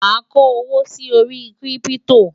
má kò owó sí orí kírìpitò